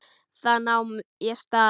Þá nam ég staðar.